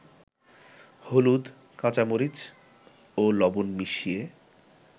হলুদ, কাঁচামরিচ ও লবণ মিশিয়ে